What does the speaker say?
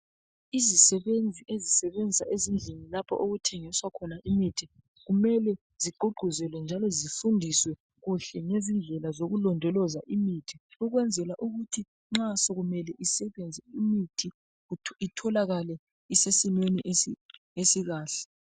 Izisebenzi ezisebenza ezindlini lapho okuthengiswa khona imithi kumele zigqugquzelwe njalo zifundiswe kuhle ngezindlela zokulondoloza imithi ukwenzela ukuthi nxa sokumele isebenze imithi itholakale isesimeni esikahle